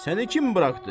Səni kim buraxdı?